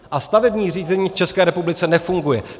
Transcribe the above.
A stavební řízení v České republice nefunguje.